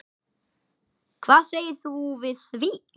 Hvað segir þú við því?